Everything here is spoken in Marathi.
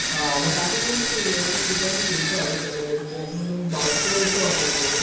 हा मग काका तुम्ही एवढ्या ठिकाणी फिरता सगळ्या गोष्टी यामधून बाईक